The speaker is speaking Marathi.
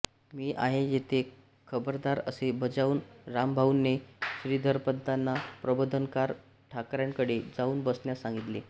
मी आहे येथे खबरदार असे बजावून रामभाऊने श्रीधरपंतांना प्रबोधनकार ठाकऱ्यांकडे जाऊन बसण्यास सांगितले